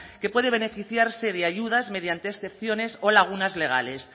que puede beneficiarse de ayudas mediante excepciones o lagunas legales